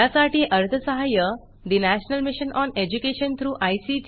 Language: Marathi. यासाठी अर्थसहाय्य national mission on education through I